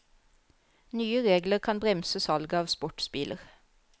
Nye regler kan bremse salget av sportsbiler.